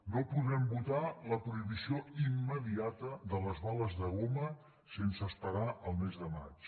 no podrem votar la prohibició immediata de les bales de goma sense esperar al mes de maig